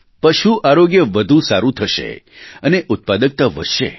પશુ આરોગ્ય વધુ સારું થશે અને ઉત્પાદકતા વધશે